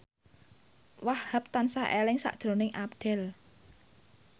Wahhab tansah eling sakjroning Abdel